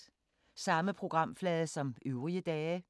Samme programflade som øvrige dage